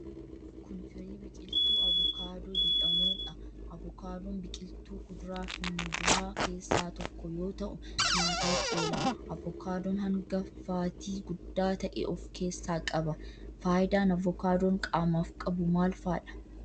Kun firii biqiltuu avokaadoo jedhamuu dha. Avokaadoon biqiltuu kuduraa fi muduraa keessaa tokko yoo ta'u nyaataaf oola. Avokaadoon hanga faatii guddaa ta'e of keessaa qaba. Faayidaan avokaadoon qaamaaf qabu maal faa dha?